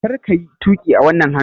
Kar ka yi tuƙi a wannan hannun!